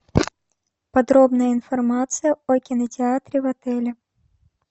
подробная информация о кинотеатре в отеле